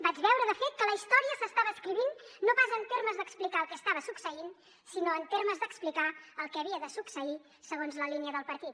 vaig veure de fet que la història s’estava escrivint no pas en termes d’explicar el que estava succeint sinó en termes d’explicar el que havia de succeir segons la línia del partit